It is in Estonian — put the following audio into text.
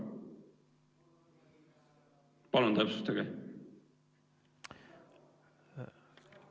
Palun täpsustage!